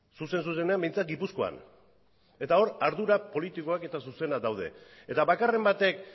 zuzen zuzenean behintzat gipuzkoan eta hor ardura politikoak eta zuzenak daude eta bakarren batek